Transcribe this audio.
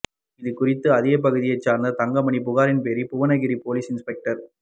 இது குறித்து அதேப்பகுதியைச் சேர்ந்த தங்கமணி புகாரின் பேரில் புவனகிரி போலீஸ் இன்ஸ் பெக்டர்